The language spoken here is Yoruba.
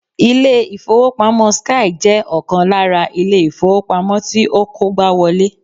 Ilé ìfowópamọ́ 'Skye' jẹ́ ọkàn lára Ilé ìfowópamọ́ tí ó kógbáwolé